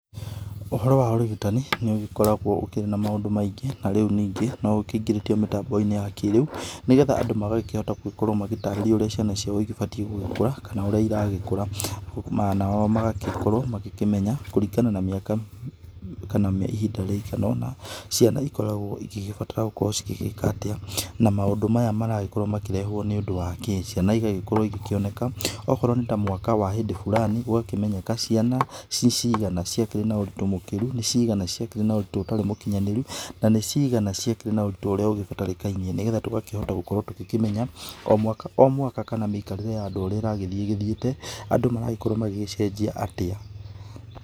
Ũhoro wa ũrigitani nĩ ũgĩkoragwo ũkĩrĩ na maũndũ maingĩ na rĩu ningĩ no ũkĩingĩrĩtio mĩtambo-inĩ ya kĩrĩu nĩgetha andũ magakĩhota gũkorwo magĩtarĩrio ũrĩa ciana ciao ĩbatiĩ gũgĩkũra kana ũrĩa ĩragĩkũra, nao magakorwo magĩkĩmenya kũringana na mĩaka kana ihinda rĩigana ona ciana ĩkoragwo ĩgĩgĩbatara gukorwo ĩgĩgĩka atĩa na maũndũ maya marakĩrehwo nĩ ũndũ wa kĩ. Ciana ĩgagĩkorwo ĩgĩkĩoneka, akorwo nĩ ta mwaka wa hĩndĩ bulani ũgakĩmenyeka ciana cicigana ciakĩrĩ na ũritũ mũkĩru, nĩ cigana ciakĩrĩ na ũritũ ũtarĩ mũkinyanĩru na nĩ cigana ciakĩrĩ na ũritũ ũrĩa ũbatarĩkaine, nĩgetha tũgakĩhota gũkorwo tũgĩkĩmenya o mwaka o mwaka kana mĩikarĩre ya andũ ũrĩa ĩragĩthĩ ĩgĩthĩĩte, andũ magagĩkorwo magĩcenjia arĩa.